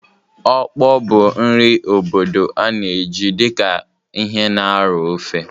Okpor bụ nri obodo a na-eji dị ka ihe na-aro ofe.